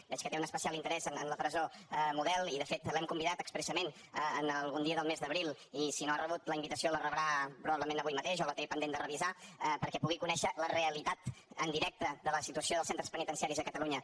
veig que té un especial interès en la presó model i de fet l’hem convidat expressament per algun dia del mes d’abril i si no ha rebut la invitació la rebrà probablement avui mateix o la té pendent de revisar perquè pugui conèixer la realitat en directe de la situació dels centres penitenciaris a catalunya